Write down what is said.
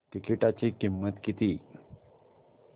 तिकीटाची किंमत किती